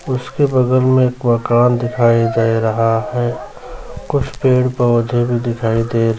उसके बगल में एक मकान दिखाई दे रहा है कुछ पेड़-पौधे भी दिखाई दे --